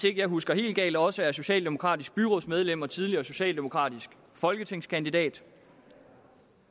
ikke husker helt galt også er socialdemokratisk byrådsmedlem og tidligere socialdemokratisk folketingskandidat